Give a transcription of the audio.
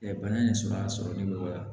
bana in sumaya sɔrɔli nɔgɔya